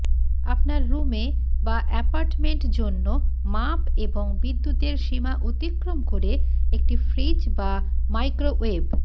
আপনার রুমে বা অ্যাপার্টমেন্ট জন্য মাপ এবং বিদ্যুতের সীমা অতিক্রম করে একটি ফ্রিজ বা মাইক্রোওয়েভ